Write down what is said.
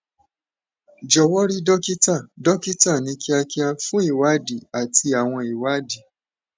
jòwó rí dókítà dókítà ní kíákíá fún ìwádìí àti àwọn ìwádìí